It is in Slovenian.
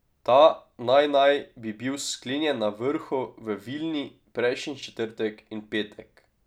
Ta naj naj bi bil sklenjen na vrhu v Vilni prejšnji četrtek in petek.